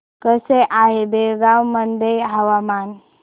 कसे आहे बेळगाव मध्ये हवामान